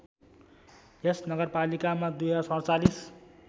यस नगरपालिकामा २०४७